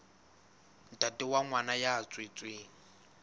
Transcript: ntate wa ngwana ya tswetsweng